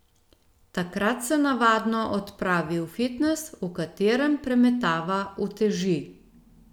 Takrat se navadno odpravi v fitnes, v katerem premetava uteži.